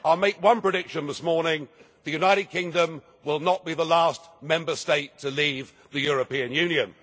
I will make one prediction this morning the United Kingdom will not be the last Member State to leave the European Union.